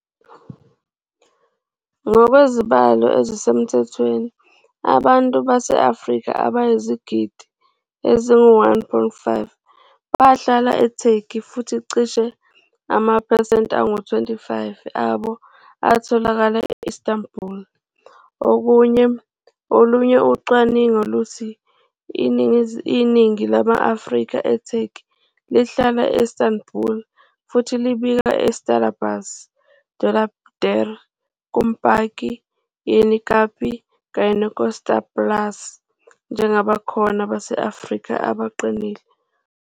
Ngokwezibalo ezisemthethweni abantu base-Afrika abayizigidi ezingu-1.5 bahlala eTurkey futhi cishe amaphesenti angu-25 abo atholakala e-Istanbul. Olunye ucwaningo luthi iningi lama-Afrika eTurkey lihlala e-Istanbul futhi libika uTarlabaşı, Dolapdere, Kumkapi, Yenikapi kanye noKurtuluş njengabakhona base-Afrika abaqinile.